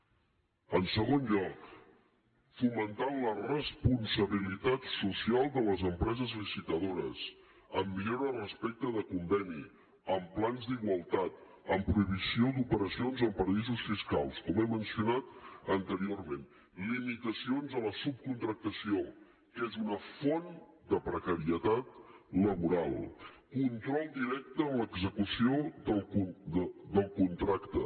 en segon lloc fomentant la responsabilitat social de les empreses licitadores amb millora respecte del conveni amb plans d’igualtat amb prohibició d’operacions en paradisos fiscals com he mencionat anteriorment limitacions a la subcontractació que és una font de precarietat laboral control directe en l’execució del contracte